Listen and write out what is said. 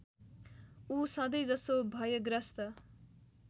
ऊ सधैँजसो भयग्रस्त